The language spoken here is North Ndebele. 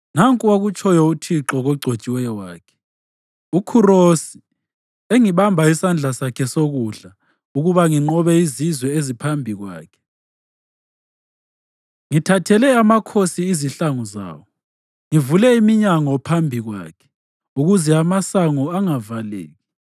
“Nanku akutshoyo uThixo kogcotshiweyo wakhe, uKhurosi, engibamba isandla sakhe sokudla ukuba nginqobe izizwe eziphambi kwakhe, ngithathele amakhosi izihlangu zawo, ngivule iminyango phambi kwakhe ukuze amasango angavaleki: